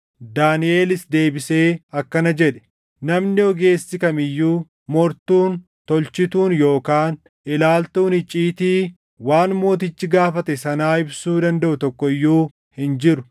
Daaniʼelis deebisee akkana jedhe; “Namni ogeessi kam iyyuu, mortuun, tolchituun yookaan ilaaltuun icciitii waan mootichi gaafate sanaa ibsuu dandaʼu tokko iyyuu hin jiru;